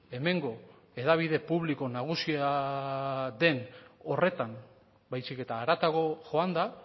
hemengo hedabide publiko nagusia den horretan baizik eta haratago joanda